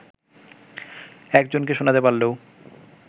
একজনকে শোনাতে পারলেও